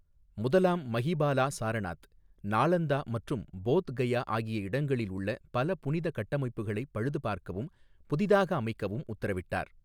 முதலாம் மஹிபாலா சாரநாத், நாலந்தா மற்றும் போத் கயா ஆகிய இடங்களில் உள்ள பல புனித கட்டமைப்புகளை பழுதுபார்க்கவும் , புதிதாக அமைக்கவும் உத்தரவிட்டார்.